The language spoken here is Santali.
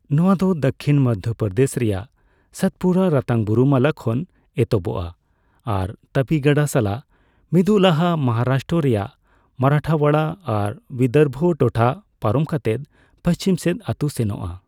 ᱱᱚᱣᱟ ᱫᱚ ᱫᱟᱹᱠᱷᱤᱱ ᱢᱚᱫᱽᱫᱷᱚᱯᱨᱫᱮᱥ ᱨᱮᱭᱟᱜ ᱥᱟᱛᱯᱩᱨᱟ ᱨᱟᱛᱟᱝ ᱵᱩᱨᱩᱢᱟᱞᱟ ᱠᱷᱚᱱ ᱮᱛᱚᱦᱚᱵᱚᱜᱼᱟ ᱟᱨ ᱛᱟᱯᱤ ᱜᱟᱰᱟ ᱥᱟᱞᱟᱜ ᱢᱤᱫᱩᱜ ᱞᱟᱦᱟ ᱢᱚᱦᱟᱨᱟᱥᱴᱨᱚ ᱨᱮᱭᱟᱜ ᱢᱟᱨᱟᱴᱷᱳᱣᱟᱲᱟ ᱟᱨ ᱵᱤᱫᱚᱨᱵᱷᱚ ᱴᱚᱴᱷᱟ ᱯᱟᱨᱚᱢ ᱠᱟᱛᱮᱫ ᱯᱟᱹᱪᱷᱤᱢ ᱥᱮᱫ ᱟᱹᱛᱩ ᱥᱮᱱᱚᱜᱼᱟ ᱾